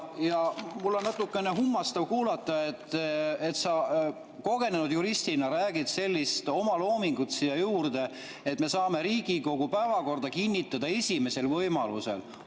Ja mul on natukene kummastav kuulata, et sa kogenud juristina räägid sellist omaloomingut siia juurde, et me saame Riigikogu päevakorra kinnitada esimesel võimalusel.